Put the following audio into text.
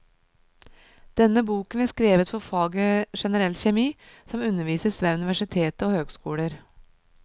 Denne boken er skrevet for faget generell kjemi, som undervises ved universitetet og høgskoler.